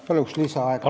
Palun lisaaega!